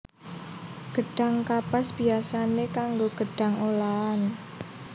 Gedhang kapas biyasané kanggo gedhang olahan